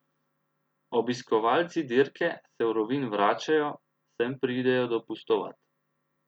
Obiskovalci dirke se v Rovinj vračajo, sem pridejo dopustovat.